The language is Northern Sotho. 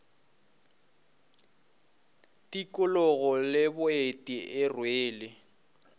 tikologo le boeti e rwele